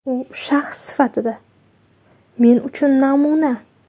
U shaxs sifatida men uchun namuna.